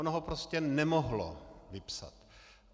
Ono ho prostě nemohlo vypsat.